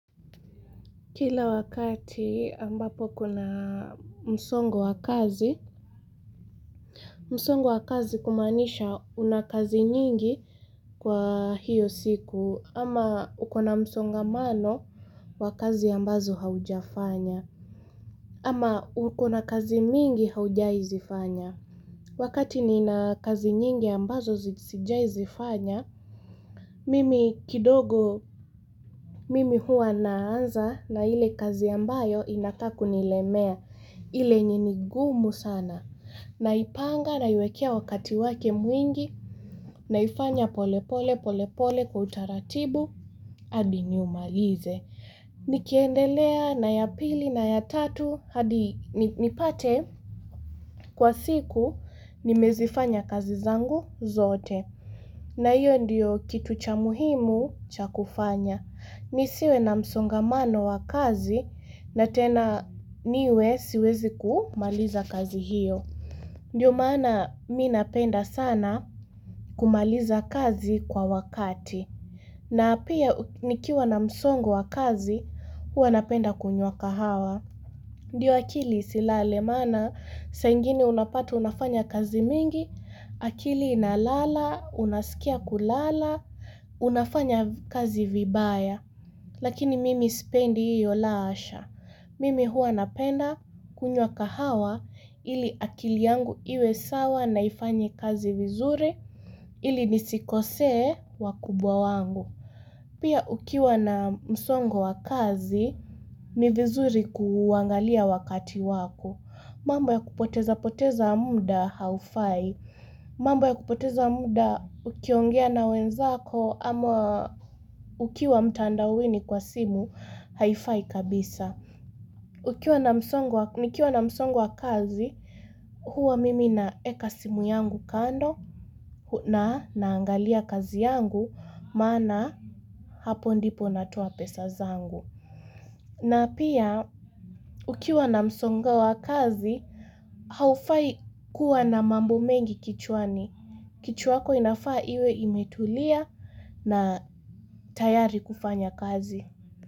Kila wakati ambapo kuna msongo wa kazi, msongo wa kazi kumanisha una kazi nyingi kwa hiyo siku, ama uko na msongamano wa kazi ambazo haujafanya, ama uko na kazi mingi haujai zifanya. Wakati nina kazi nyingi ambazo siijaizifanya, mimi kidogo mimi hua naanza na ile kazi ambayo inakaa kunilemea, ile enye ni gumu sana. Naipanga naiwekea wakati wake mwingi, naifanya pole pole pole pole kwa utaratibu, adi niumalize. Nikiendelea na ya pili na ya tatu hadi nipate kwa siku nimezifanya kazi zangu zote na hiyo ndiyo kitu cha muhimu cha kufanya Nisiwe na msongamano wa kazi na tena niwe siwezi kumaliza kazi hiyo Ndiyo maana minapenda sana kumaliza kazi kwa wakati na apia nikiwa na msongo wa kazi, hua napenda kunywa kahawa. Ndiyo akili isilale maana, saa ingine unapata unafanya kazi mingi, akili inalala, unaskia kulala, unafanya kazi vibaya. Lakini mimi spendi iyo la hasha. Mimi hua napenda kunywa kahawa ili akili yangu iwe sawa naifanye kazi vizure ili nisikosee wakubwa wangu. Pia ukiwa na msongo wa kazi ni vizuri kuangalia wakati wako. Mambo ya kupoteza poteza muda haufai. Mambo ya kupoteza muda ukiongea na wenzako ama ukiwa mtandawini kwa simu haifai kabisa. Nikiwa na msongo wa kazi huwa mimi naeka simu yangu kando. Na naangalia kazi yangu, mana hapo ndipo natoa pesa zangu. Na pia, ukiwa na msongo wa kazi, haufai kuwa na mambo mengi kichwani. Kichwa yako inafaa iwe imetulia na tayari kufanya kazi.